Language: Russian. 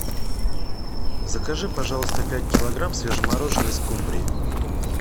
закажи пожалуйста пять килограмм свежемороженой скумбрии